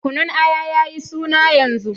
Kunun Aya ya yi suna yanzu.